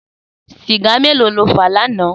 Sìgá méló ló fà lànã?